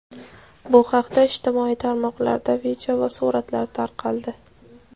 Bu haqda ijtimoiy tarmoqlarda video va suratlar tarqaldi.